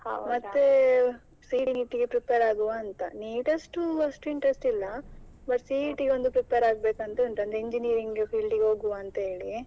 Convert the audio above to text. ಮತ್ತೆ CET ಗೆ prepare ಆಗುವ ಅಂತ NEET ಅಷ್ಟು ಅಷ್ಟು interest ಇಲ್ಲ but CET ಗೆ prepare ಆಗ್ಬೇಕು ಅಂತ ಉಂಟು ಅಂದ್ರೆ, Engineering field ಗೆ ಹೋಗುವ ಅಂತ ಹೇಳಿ.